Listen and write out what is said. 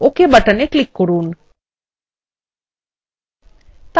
এবং ওকে buttonএ click করুন